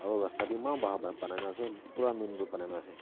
aro rasta b eman bhal bhal bunai na ase bura main road bunai na ase.